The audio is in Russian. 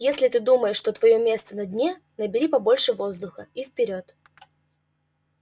если ты думаешь что твоё место на дне набери побольше воздуха и вперёд